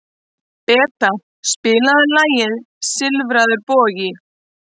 Beta, spilaðu lagið „Silfraður bogi“.